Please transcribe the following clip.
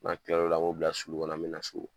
N'an tilal'o la an b'o bila sulu kɔnɔ an bɛ na so